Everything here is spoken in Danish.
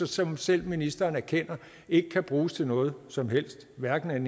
som selv ministeren erkender ikke kan bruges til noget som helst af hverken den